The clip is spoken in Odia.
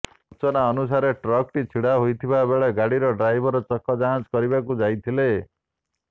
ସୂଚନା ଅନୁସାରେ ଟ୍ରକ୍ଟି ଛିଡ଼ା ହୋଇଥିବା ବେଳେ ଗାଡ଼ିର ଡ୍ରାଇଭର ଚକ ଯାଞ୍ଚ କରିବାକୁ ଯାଇଥିଲେ